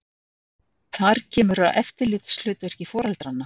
Þar kemur að eftirlitshlutverki foreldranna.